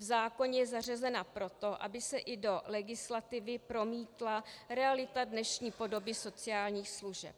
V zákoně je zařazena proto, aby se i do legislativy promítla realita dnešní podoby sociálních služeb.